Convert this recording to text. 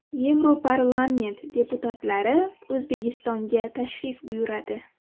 Yevroparlament deputatlari O‘zbekistonga tashrif buyuradi.